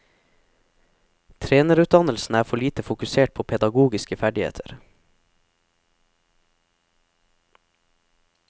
Trenerutdannelsen er for lite fokusert på pedagogiske ferdigheter.